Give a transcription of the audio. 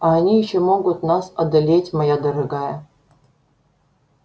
а они ещё могут нас одолеть моя дорогая